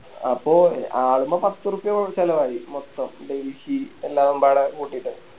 അപ്പൊ ആളിമ്മെ പത്തുറുപ്പ്യ ചെലവായി മൊത്തം ഡെൽഹി എല്ലാം വാടക കൂട്ടിട്ട്